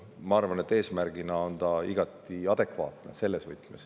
Ma arvan, et see eesmärk on selles võtmes igati adekvaatne.